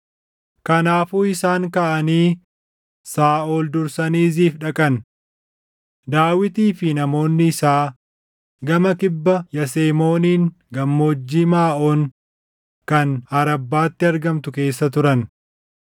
Kanaafuu isaan kaʼanii Saaʼol dursanii Ziif dhaqan. Daawitii fi namoonni isaa gama kibba Yasemooniin Gammoojjii Maaʼoon kan Arabbaatti argamtu keessa turan.